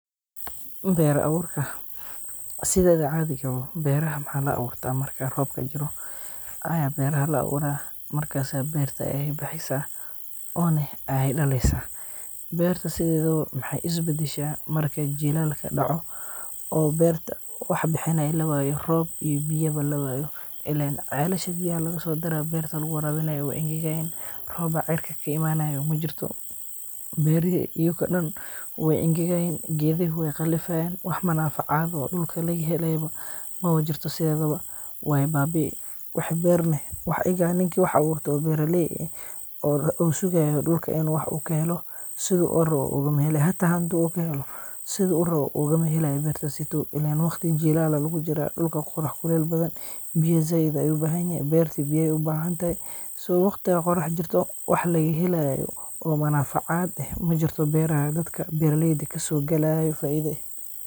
Ber awurka, sideda cadiga wo beraha maxa laawurta marka roobka jiro, aya beraha laawura, markas berta ay bexeysa, ona ay daleysa, berta sidedawo maxay isbadasha marka jilaal ka dacoo,o berta wax bixini lawayo, roob iyo biyaba lawayo, ilen celasha biya lagasodaro berta laguwarawinayo way ingagayan, roob aa cirka kaimanaya majirto, beri ayuga dan way ingagayan, gedoxodi way galifayan, wax manafacad oo dulka lagahelay mawajirto sidhedhawa, way babii, wax ber ega ninki wax aburto oo beraley eh, oo sugayo dulka in u wax kaxelo, sidhu urawo ugumaxelay, xataa xandu lagaxelo, sidhu urawo ogumaxelay bertas seydow, illen wagti jilal aya lagujira, dulka qorax kulel badan, biya zaid ayu ubaxanyaxay, berti biya ayay ubaxantaxay, so wagtiga qorax jirto wax lagahelayo oo manafacad eh majirto beraha ay dadka beraleydha kasogalayo faida eh.